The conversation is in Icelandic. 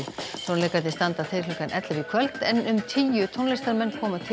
tónleikarnir standa til klukkan ellefu í kvöld en um tíu tónlistarmenn koma til